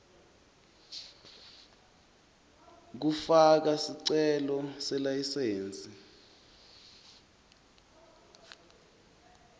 kufaka sicelo selayisensi